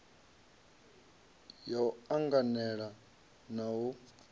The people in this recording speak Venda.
ya u anganela na u